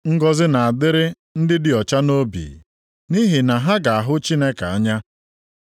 Ngọzị na-adịrị ndị dị ọcha nʼobi, nʼihi na ha ga-ahụ Chineke anya.